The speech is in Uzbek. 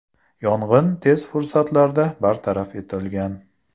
Yong‘in tez fursatlarda bartaraf etilgan.